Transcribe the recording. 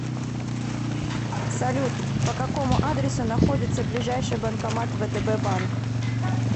салют по какому адресу находится ближайший банкомат втб банк